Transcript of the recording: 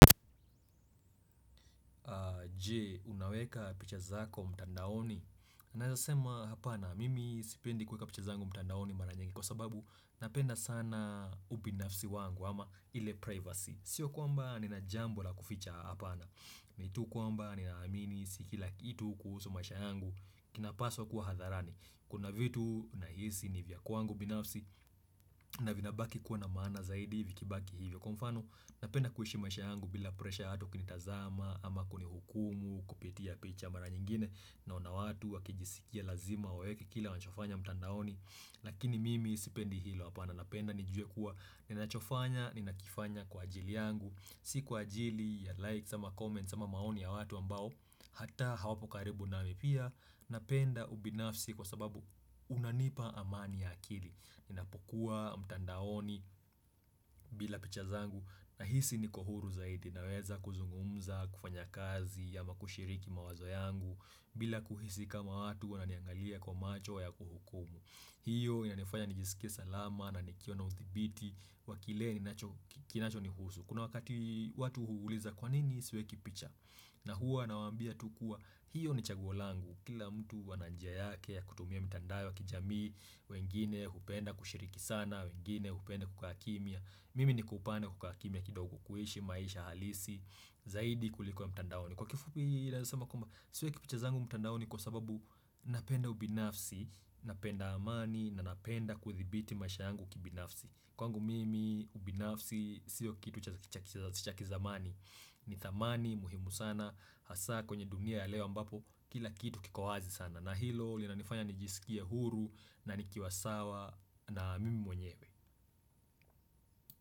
Je, unaweka picha zako mtandaoni? Naeza sema hapana, mimi sipendi kweka picha zangu mtandaoni mara nyingi kwa sababu napenda sana ubinafsi wangu ama ile privacy. Sio kwamba ninajambo la kuficha hapana. Ni tu kwamba ninaamini si kila kitu kuhusu maisha yangu kinapaswa kuwa hadharani. Kuna vitu nahisi ni vya kwangu binafsi na vinabaki kuwa na maana zaidi vikibaki hivyo konfano. Napenda kuhishi maisha yangu bila presha ya watu kunitazama ama kunihukumu kupitia picha mara nyingine naona watu wakijisikia lazima waweke kila wanachofanya mtandaoni Lakini mimi sipendi hilo hapana napenda nijue kuwa ninachofanya ninakifanya kwa ajili yangu Si kwa ajili ya likes ama comments ama maoni ya watu ambao hata hawapo karibu nami pia napenda ubinafsi kwa sababu unanipa amani ya akili Ninapokuwa mtandaoni bila picha zangu Nahisi niko huru zaidi naweza kuzungumza kufanya kazi ama kushiriki mawazo yangu bila kuhisi kama watu wananiangalia kwa macho ya kuhukumu hiyo inanifanya nijisikie salama na nikue na uthibiti wa kile kinacho ni husu Kuna wakati watu huuliza kwa nini siweki picha na huwa nawaambia tu kua hiyo ni chaguo langu kila mtu ana njia yake ya kutumia mitandao ya kijamii wengine hupenda kushiriki sana wengine kupenda kukaa kimya Mimi niko upande wa kukaa kimya kidogo kuishi maisha halisi Zaidi kuliko ya mitandaoni Kwa kifupi naeza swma kwamba Siweki picha zangu mitandaoni kwa sababu napenda ubinafsi Napenda amani na napenda kuthibiti maisha yangu kibinafsi Kwangu mimi ubinafsi siyo kitu cha kizamani ni thamani muhimu sana hasa kwenye dunia ya leo ambapo kila kitu kiko wazi sana na hilo linanifanya nijisikie huru na nikiwa sawa na mimi mwenyewe.